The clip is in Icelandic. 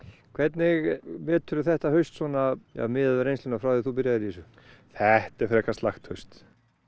hvernig þetta haust svona miðað við reynsluna frá því þú byrjaðir í þessu þetta er frekar slakt haust